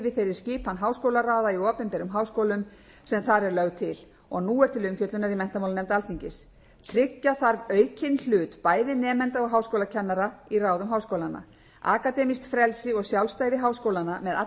þeirri skipan háskólaráða í opinberum háskólum sem þar er lögð til og nú er til umfjöllunar í menntamálanefnd alþingis tryggja þarf aukinn hlut bæði nemenda og háskólakennara í ráðum háskólanna akademíska frelsi og sjálfstæði háskólanna með allri þeirri